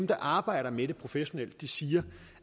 der arbejder med det professionelt siger